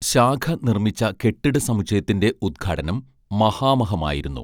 ശാഖാ നിർമ്മിച്ച കെട്ടിട സമുച്ചയത്തിന്റെ ഉദ്ഘാടനം മഹാമഹമായിരുന്നു